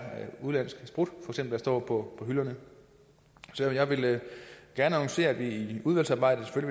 udenlandsk sprut der står på hylderne så jeg vil gerne annoncere at vi i udvalgsarbejdet